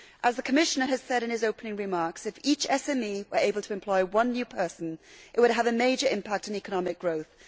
As the Commissioner said in his opening remarks, if each SME were able to employ one new person, it would have a major impact on economic growth.